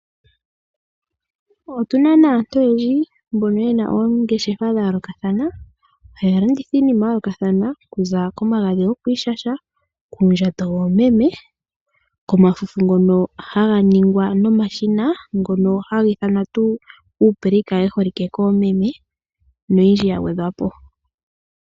Otu na aantu oyendji mbono ye na oongeshefa dha yoolokathana haya landitha iinima ya yoolokathana, okuza komagadhi gokwiishasha, uundjato woomeme, komafufu ngono haga ningwa nomashina haga ithanwa uupleika wu holike koomeme noyindji ya gwedhwa po.